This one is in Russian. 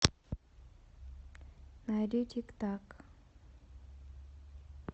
найди тик так